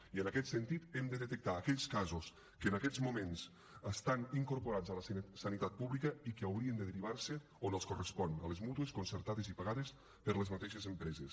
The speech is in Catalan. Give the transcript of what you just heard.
i en aquest sentit hem de detectar aquells casos que en aquests moments estan incorporats a la sanitat pública i que haurien de derivar se on els correspon a les mútues concertades i pagades per les mateixes empreses